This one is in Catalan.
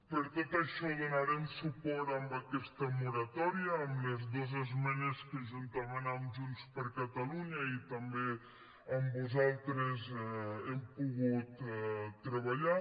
per tot això donarem suport a aquesta moratòria amb les dos esmenes que juntament amb junts per catalunya i també amb vosaltres hem pogut treballar